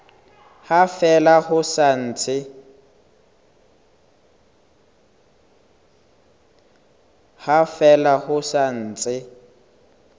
ha fela ho sa ntse